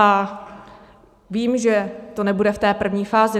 A vím, že to nebude v té první fázi.